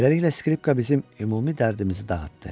Beləliklə skripka bizim ümumi dərdimizi dağıtdı.